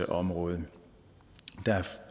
område der